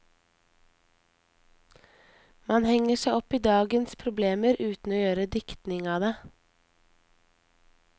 Man henger seg opp i dagens problemer uten å gjøre diktning av det.